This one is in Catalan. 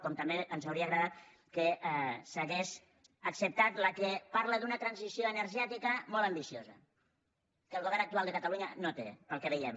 com també ens hauria agradat que s’hagués acceptat la que parla d’una transició energètica molt ambiciosa que el govern actual de catalunya no té pel que veiem